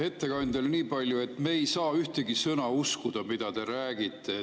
Ettekandjale niipalju, et me ei saa ühtegi sõna uskuda, mida te räägite.